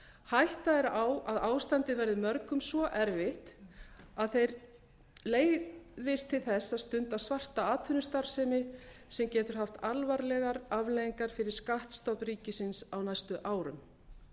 hætta er á að ástandið verði mörgum svo erfitt að þeir leiðist til þess að stunda svarta atvinnustarfsemi sem getur haft alvarlegar afleiðingar fyrir skattstofn ríkisins á næstu árum